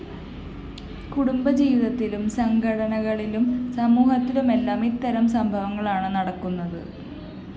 കുടുംബജീവിതത്തിലും സംഘടനകളിലും സമൂഹത്തിലുമെല്ലാം ഇത്തരം സംഭവങ്ങളാണ് നടക്കുന്നത്